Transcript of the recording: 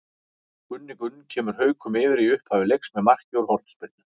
Gunni Gunn kemur Haukum yfir í upphafi leiks með marki úr hornspyrnu.